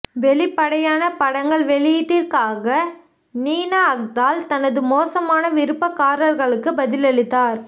வெளிப்படையான படங்கள் வெளியீட்டிற்காக நினா அக்தால் தனது மோசமான விருப்பக்காரர்களுக்கு பதிலளித்தார்